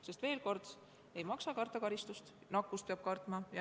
Sest veel kord: mitte karistust ei maksa karta, vaid nakkust peab kartma.